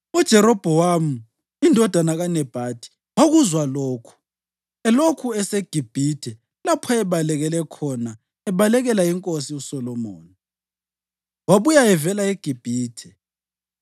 UJerobhowamu indodana kaNebhathi wakuzwa lokhu (elokhu eseGibhithe, lapho ayebalekele khona ebalekela inkosi uSolomoni) wabuya evela eGibhithe.